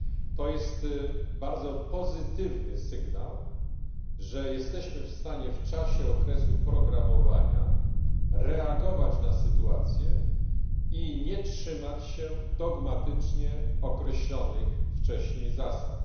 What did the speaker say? To jest bardzo pozytywny sygnał, że jesteśmy w stanie w czasie okresu programowania reagować na sytuację i nie trzymać się dogmatycznie określonych wcześniej zasad.